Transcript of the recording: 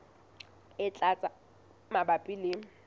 e tlang tse mabapi le